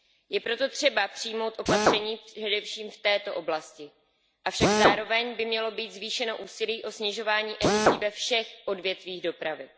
Je proto třeba přijmout opatření především v této oblasti, avšak zároveň by mělo být zvýšeno úsilí o snižování emisí ve všech odvětvích dopravy.